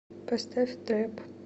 поставь трэп